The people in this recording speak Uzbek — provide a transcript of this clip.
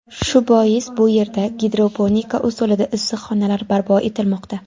Shu bois bu yerda gidroponika usulida issiqxonalar barpo etilmoqda.